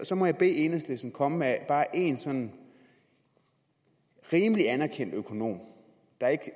så må jeg bede enhedslisten komme med bare en sådan rimelig anerkendt økonom der ikke